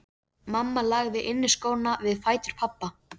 Mamma lagði inniskóna við fætur pabba.